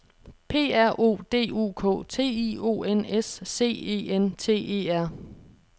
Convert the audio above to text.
P R O D U K T I O N S C E N T E R